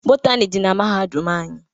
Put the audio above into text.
Bọtani di na mahadum anyi.